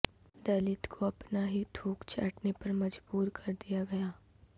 دلت کو اپنا ہی تھوک چاٹنے پر مجبور کردیا گیا